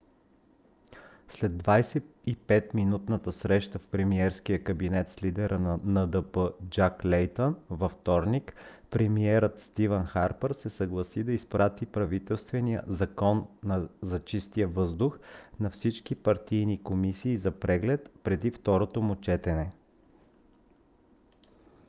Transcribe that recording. след 25-минутната среща в премиерския кабинет с лидера на ндп джак лейтън във вторник премиерът стивън харпър се съгласи да изпрати правителствения закон за чистия въздух на всички партийни комисии за преглед преди второто му четене